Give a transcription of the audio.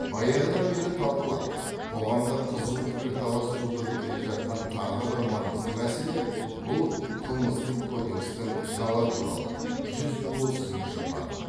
баяғыдан бері талқылап қоғамда қызу пікірталас тудырып келе жатқан тағы бір маңызды мәселе бұл қылмыстық кодекстің жала туралы жүз отызыншы бабы